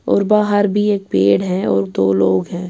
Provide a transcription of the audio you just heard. .اور بہار بھی ایک پیڈ ہے اور دو لوگ ہیں